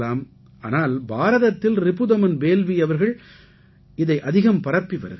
ஆனால் பாரதத்தில் ரிபுதமன் பேல்வீ அவர்கள் தாம் இதை அதிகம் பரப்பி வருகிறார்